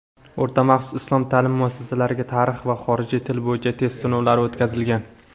o‘rta maxsus islom ta’lim muassasalariga "Tarix" va "Xorijiy til" bo‘yicha test sinovlari o‘tkazilgan.